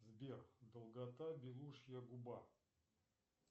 сбер долгота белушья губа